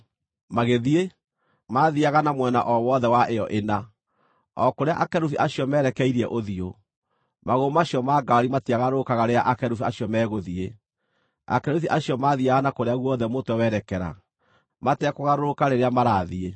Magĩthiĩ, maathiiaga na mwena o wothe wa ĩyo ĩna, o kũrĩa akerubi acio merekeirie ũthiũ; magũrũ macio ma ngaari matiagarũrũkaga rĩrĩa akerubi acio megũthiĩ. Akerubi acio maathiiaga na kũrĩa guothe mũtwe werekera, matekũgarũrũka rĩrĩa marathiĩ.